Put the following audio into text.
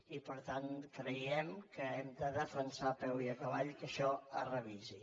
i per tant creiem que hem de defensar a peu i a cavall que això es revisi